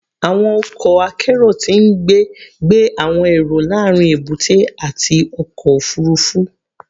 Awọn ọkọ akero ti ngbe gbe awọn ero laarin ebute ati ọkọ ofurufu